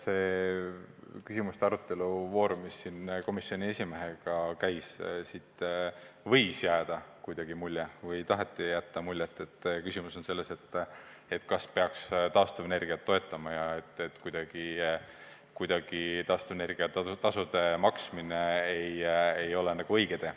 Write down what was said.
Küsimuste ja vastuste voorust, kui komisjoni esimees puldis oli, võis jääda mulje või taheti jätta muljet, et küsimus on selles, kas peaks taastuvenergiat toetama, ja et on arvamus, et taastuvenergia tasude maksmine ei ole nagu õige tee.